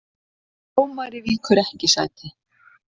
Dómari víkur ekki sæti